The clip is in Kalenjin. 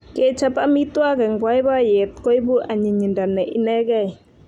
Kechop amitwogik eng boiboiyet koipu anyinyindo ne inegei